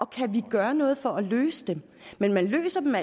kan gøre noget for at løse dem men man løser